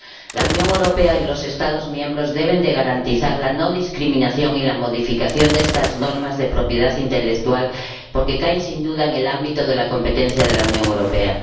La Unión Europea y los Estados miembros deben garantizar la no discriminación y la modificación de estas normas de propiedad intelectual porque caen, sin duda, en el ámbito de competencias de la Unión Europea.